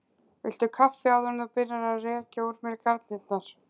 Viltu kaffi áður en þú byrjar að rekja úr mér garnirnar?